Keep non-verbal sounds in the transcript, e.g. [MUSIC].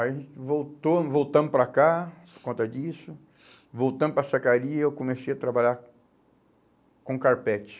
Aí voltou voltamos para cá por conta disso, voltamos para [UNINTELLIGIBLE] e eu comecei a trabalhar com carpete.